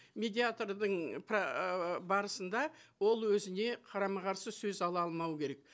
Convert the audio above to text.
медиатордың ыыы барысында ол өзіне қарама қарсы сөз ала алмау керек